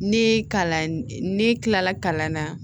Ne kalan ne kilala kalan na